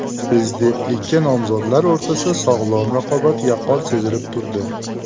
Prezidentlikka nomzodlar o‘rtasida sog‘lom raqobat yaqqol sezilib turdi.